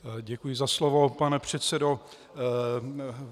Děkuji za slovo, pane předsedo.